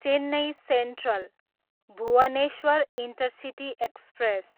Chennai central, Bhubaneswar intercity express